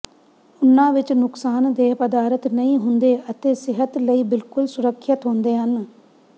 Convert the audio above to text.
ਉਨ੍ਹਾਂ ਵਿਚ ਨੁਕਸਾਨਦੇਹ ਪਦਾਰਥ ਨਹੀਂ ਹੁੰਦੇ ਅਤੇ ਸਿਹਤ ਲਈ ਬਿਲਕੁਲ ਸੁਰੱਖਿਅਤ ਹੁੰਦੇ ਹਨ